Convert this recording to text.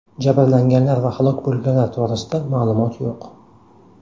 Jabrlanganlar va halok bo‘lganlar to‘g‘risida ma’lumot yo‘q.